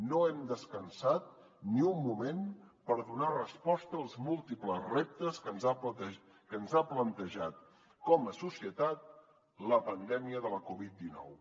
no hem descansat ni un moment per donar resposta als múltiples reptes que ens ha plantejat com a societat la pandèmia de la covid dinou